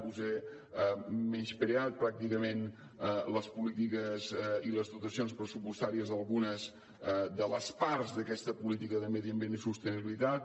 vostè ha menyspreat pràcticament les polítiques i les dotacions pressupostàries d’algunes de les parts d’aquesta política de medi ambient i sostenibilitat